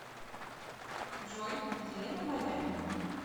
джой елена маями